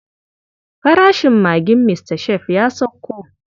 Farashin magin Mr Chef ya sauko.